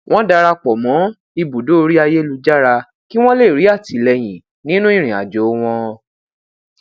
wọn darapọ mọ ibudo orí ayélujára kí wọn lè rí àtìlẹyìn ninu ìrìnàjò wọn